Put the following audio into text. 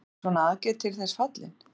Er svona aðgerð til þess fallin?